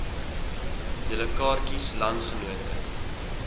julle kaartjies landsgenote